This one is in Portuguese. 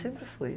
Sempre fui.